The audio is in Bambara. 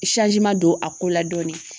don a ko la dɔɔni.